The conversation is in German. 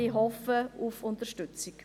Ich hoffe auf Unterstützung.